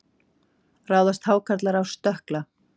Ráðast hákarlar á stökkla?